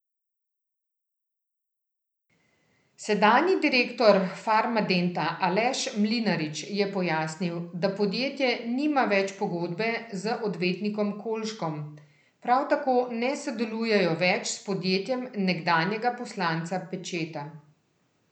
Sedanji direktor Farmadenta Aleš Mlinarič je pojasnil, da podjetje nima več pogodbe z odvetnikom Kolškom, prav tako ne sodelujejo več s podjetjem nekdanjega poslanca Pečeta.